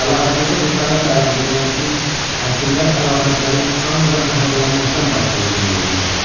Əlahəzrətə cəsarətlə ərz edirəm ki, həkimlər əlamətlərin ancaq zəhərlənməkdən baş verdiyini deyirlər.